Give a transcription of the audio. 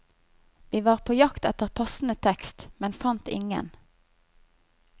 Vi var på jakt etter passende tekst, men fant ingen.